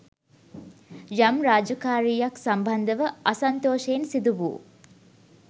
යම් රාජකාරීයක් සම්බන්ධව අසන්තෝෂයෙන් සිදු වූ